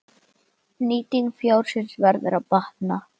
Nýting fjárins verður að batna.